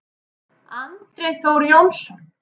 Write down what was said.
Andri Þór Jónsson